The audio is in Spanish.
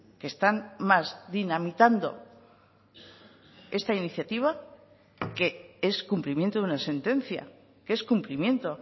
que están más dinamitando esta iniciativa que es cumplimiento de una sentencia que es cumplimiento